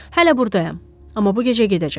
Hələ burdayam, amma bu gecə gedəcəm.